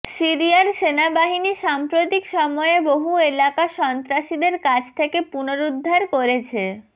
সিরিয়ার সেনাবাহিনী সাম্প্রতিক সময়ে বহু এলাকা সন্ত্রাসীদের কাছ থেকে পুনরুদ্ধার করেছে